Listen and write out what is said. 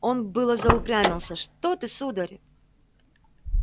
он было заупрямился что ты сударь